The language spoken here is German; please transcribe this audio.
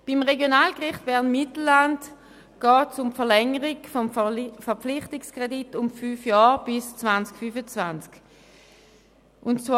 Beim Regionalgericht Bern-Mittelland geht es um die Verlängerung des Verpflichtungskredits um fünf Jahre bis 2025.